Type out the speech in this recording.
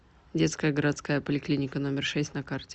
детская городская поликлиника номер шесть на карте